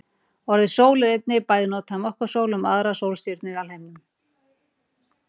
Orðið sól er einnig bæði notað um okkar sól og um aðrar sólstjörnur í alheiminum.